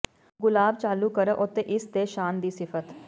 ਗੁਲਾਬ ਚਾਲੂ ਕਰੋ ਅਤੇ ਇਸ ਦੇ ਸ਼ਾਨ ਦੀ ਸਿਫਤ